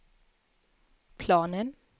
planen